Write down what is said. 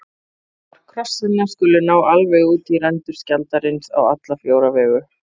armar krossanna skulu ná alveg út í rendur skjaldarins á alla fjóra vegu